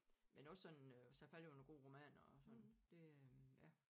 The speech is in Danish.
Men også sådan øh så faldt jeg over nogle gode romaner og sådan det øh ja